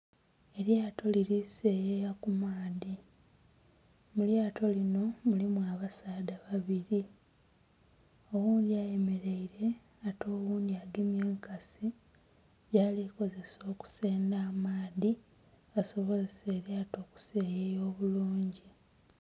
Elyato liri seyeya ku maadhi. Mu lyato lino mulimu abasaadha babili. Oghundhi ayemeleire ate oghundhi agemye enkasi gyali kozesa okusendha amaadhi asobozese elyato okuseyeya obulungi.